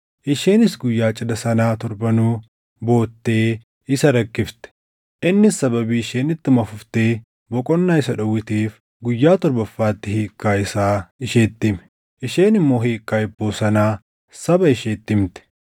Isheenis guyyaa cidha sanaa torbanuu boottee isa rakkifte; innis sababii isheen ittuma fuftee boqonnaa isa dhowwiteef guyyaa torbaffaatti hiikkaa isaa isheetti hime. Isheen immoo hiikkaa hibboo sanaa saba isheetti himte.